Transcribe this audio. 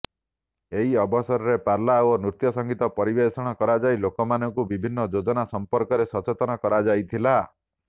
ଏହି ଅବସରରେ ପାଲା ଓ ନୃତ୍ୟ ସଂଗୀତ ପରିବେଷଣ କରାଯାଇ ଲୋକମାନଙ୍କୁ ବିଭିନ୍ନ ଯୋଜନା ସମ୍ପର୍କରେ ସଚେତନ କରାଯାଇଥିଲା